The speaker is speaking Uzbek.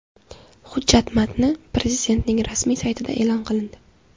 Hujjat matni Prezidentning rasmiy saytida e’lon qilindi .